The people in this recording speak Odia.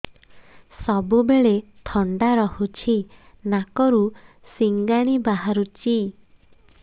ସବୁବେଳେ ଥଣ୍ଡା ରହୁଛି ନାକରୁ ସିଙ୍ଗାଣି ବାହାରୁଚି